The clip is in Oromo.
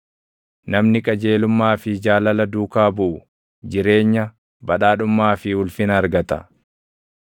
Namni qajeelummaa fi jaalala duukaa buʼu, jireenya, badhaadhummaa fi ulfina argata.